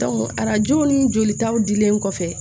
arajow ni jolitaw dilen kɔfɛ